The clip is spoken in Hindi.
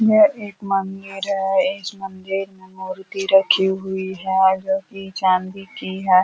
यह एक मन्दिर है। इस मन्दिर में मूर्ति रखी हुई है वो भी चांदी की है।